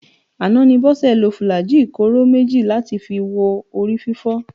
Àná ni Bọ́sẹ̀ lo fùlàájì kóró méjì láti fi wo orí fífọ́